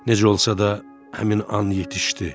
Necə olsa da həmin an yetişdi.